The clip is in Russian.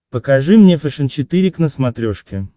покажи мне фэшен четыре к на смотрешке